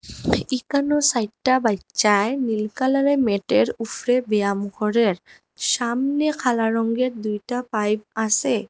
ইক্কানো সাইটটা বাইচ্চার নীল কালারের ম্যাটের উফরে ব্যায়াম করের সামনে খালা রংগের দুইটা পাইপ আসে।